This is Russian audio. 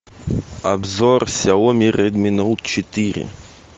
обзор сяоми редми ноут четыре